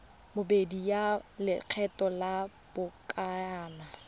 bobedi ya lekgetho la lobakanyana